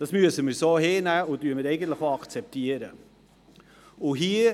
Das müssen wir so hinnehmen, und wir akzeptieren es auch.